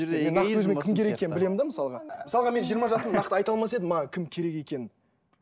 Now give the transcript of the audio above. кім керек екенін білемін де мысалға мысалға мен жиырма жасымда нақты айта алмас едім маған кім керек екенін